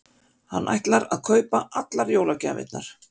Hann ætlar að kaupa allar jólagjafirnar.